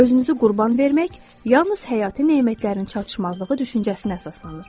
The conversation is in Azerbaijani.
Özünüzü qurban vermək yalnız həyati nemətlərin çatışmazlığı düşüncəsinə əsaslanır.